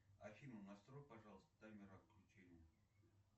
афина настрой пожалуйста таймер отключения